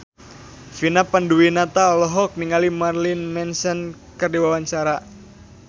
Vina Panduwinata olohok ningali Marilyn Manson keur diwawancara